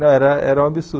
Não, era era um absurdo.